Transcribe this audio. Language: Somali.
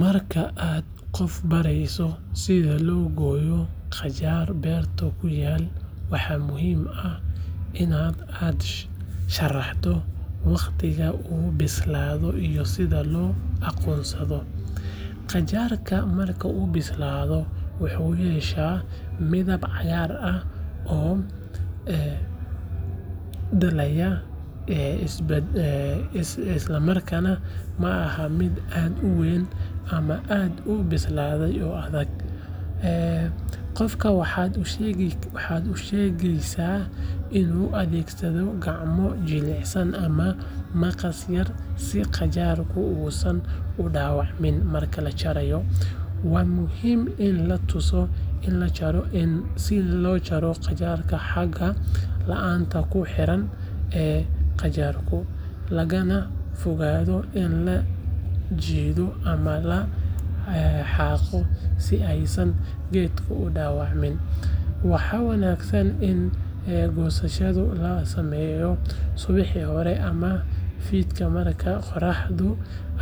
Marka aad qof barayso sida loo gooyo qajaar beerta ku yaal waa muhiim in aad u sharaxdo wakhtiga uu bislaado iyo sida loo aqoonsado. Qajaarka marka uu bislaado wuxuu yeeshaa midab cagaar ah oo dhalaalaya islamarkaana maaha mid aad u weyn ama aad u bislaaday oo adag. Qofka waxaad u sheegaysaa inuu adeegsado gacmo jilicsan ama maqas yar si qajaarka uusan u dhaawacmin marka la jarayo. Waa muhiim in la tuso in la jaro qeybta xagga laanta ku xiran ee qajaarka, lagana fogaado in la jiido ama la xaaqo si aysan geedka u dhaawacmin. Waxaa wanaagsan in goosashada la sameeyo subaxii hore ama fiidkii marka qorraxdu